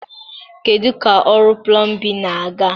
Kedu ka ọrụ plọmbịn na-aga?